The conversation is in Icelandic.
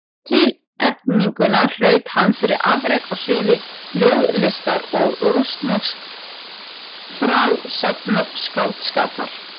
Tilnefninguna hlaut hann fyrir afrek á sviði ljóðlistar og rússnesks frásagnarskáldskapar.